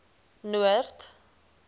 noord